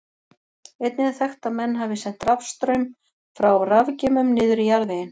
Einnig er þekkt að menn hafi sent rafstraum frá rafgeymum niður í jarðveginn.